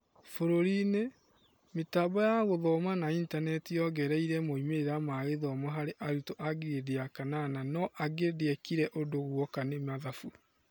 bũrũri-inĩ, mĩtambo ya gũthoma na intaneti yaongereire moimĩrĩra ma gĩthongo harĩ arutwo a ngirĩndi ya kanana no angĩ ndĩekire ũndũ guoka nĩ mathabu.